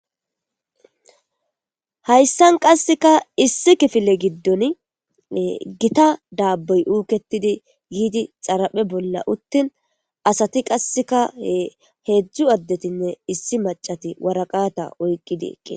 Haysan qaseka issi kifile gidon gita daboy uketidi yidi xaraphe bola utin asati qaseka hezdu adetinne issi mac'ati woraqata oyqidi eqida.